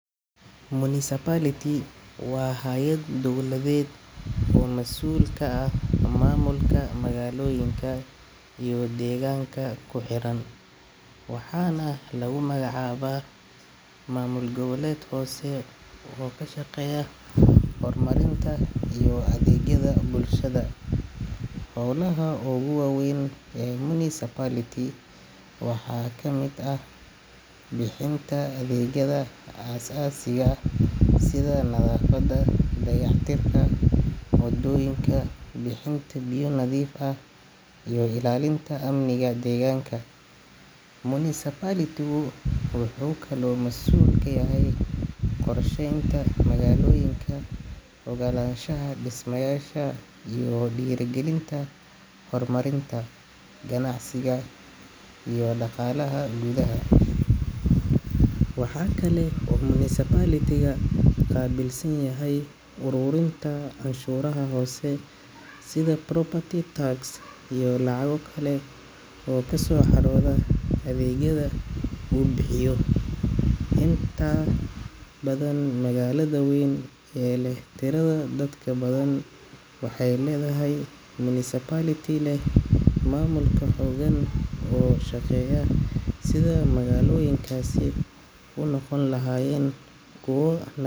Municipality waa hay’ad dowladeed oo mas’uul ka ah maamulka magaalooyinka iyo deegaanka ku xeeran, waxaana lagu magacaabaa maamul goboleed hoose oo ka shaqeeya horumarinta iyo adeegyada bulshada. Hawlaha ugu waaweyn ee municipality-ka waxaa ka mid ah bixinta adeegyada aasaasiga ah sida nadaafadda, dayactirka wadooyinka, bixinta biyo nadiif ah, iyo ilaalinta amniga deegaanka. Municipality-gu wuxuu kaloo mas’uul ka yahay qorsheynta magaalooyinka, oggolaanshaha dhismayaasha, iyo dhiirrigelinta horumarinta ganacsiga iyo dhaqaalaha gudaha. Waxa kale oo uu municipality-gu qaabilsan yahay uruurinta canshuuraha hoose sida property tax iyo lacago kale oo ka soo xarooda adeegyada uu bixiyo. Inta badan, magaalada weyn ee leh tirada dadka badan waxay leedahay municipality leh maamulka xooggan oo ka shaqeeya sidii magaalooyinkaasi u noqon lahaayeen kuwo.